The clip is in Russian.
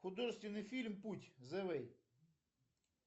художественный фильм путь зэ вэй